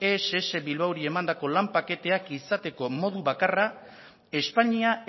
ess bilbaori emandako lan paketeak izateko modu bakarra espainia